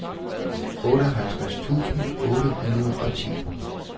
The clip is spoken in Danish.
otteoghalvtreds tusind otte hundrede og ti